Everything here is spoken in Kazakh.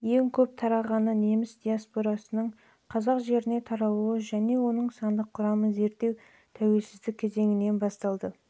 ең көп тарағаны неміс диаспорасының қазақ жеріне таралуы мен оның сандық құрамын зерттеу тәуелсіздік кезеңінен